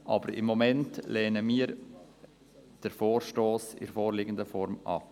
Aber im Moment lehnen wir den Vorstoss in der vorliegenden Form ab.